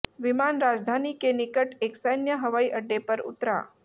विमान राजधानी के निकट एक सैन्य हवाई अड्डे पर उतरा